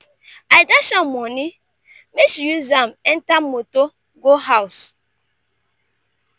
i dash am moni make she use am enter motor go house.